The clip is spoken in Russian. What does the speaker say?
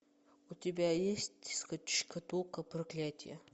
у тебя есть шкатулка проклятия